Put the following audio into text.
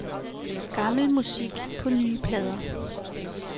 Gammel musik på nye plader.